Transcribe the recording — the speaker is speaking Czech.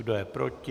Kdo je proti?